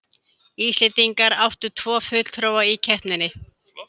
Íslendingar áttu tvo fulltrúa í keppninni